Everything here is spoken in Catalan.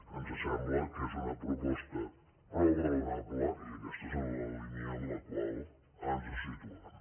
ens sembla que és una proposta prou raonable i aquesta és en la línia en la qual ens situem